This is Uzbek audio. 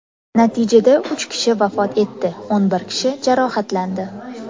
Natijada uch kishi vafot etdi, o‘n bir kishi jarohatlandi.